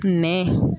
Nɛn